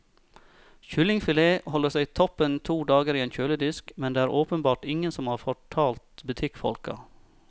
Kyllingfilet holder seg toppen to dager i en kjøledisk, men det er det åpenbart ingen som har fortalt butikkfolka.